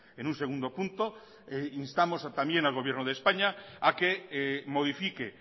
en un segundo punto instamos también al gobierno de españa a que modifique